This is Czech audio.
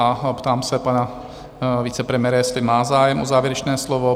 A ptám se pana vicepremiéra, jestli má zájem o závěrečné slovo?